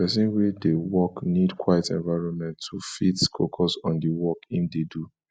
person wey de work need quite environment to fit focus on di work im de do